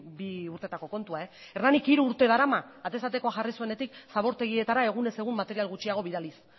bi urtetako kontua hernanik hiru urte darama atez atekoa jarri zuenetik zabortegietara egunez egun material gutxiago bidaliz